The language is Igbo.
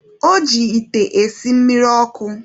O ji ite esi mmiri ọkụ.